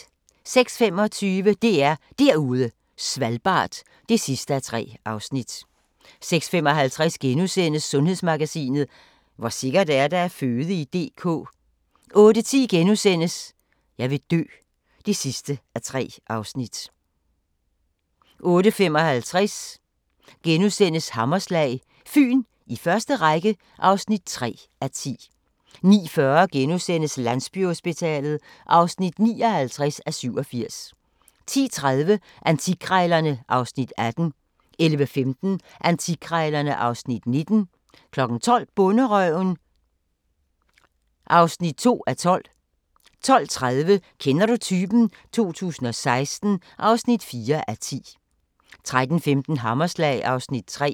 06:25: DR Derude Svalbard (3:3) 06:55: Sundhedsmagasinet: Hvor sikkert er det at føde i DK? * 08:10: Jeg vil dø (3:3)* 08:55: Hammerslag – Fyn i første række (3:10)* 09:40: Landsbyhospitalet (59:87)* 10:30: Antikkrejlerne (Afs. 18) 11:15: Antikkrejlerne (Afs. 19) 12:00: Bonderøven (2:12) 12:30: Kender du typen? 2016 (4:10) 13:15: Hammerslag (Afs. 3)